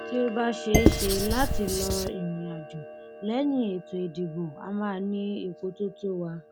tí ó bá ṣeé ṣe láti lọ ìrìnàjò lẹyìn ètò ìdìbò a máa ní epo tó tó wa